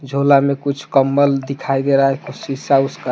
झोला में कुछ कंबल दिखाई दे रहा है कुछ शीशा उसका।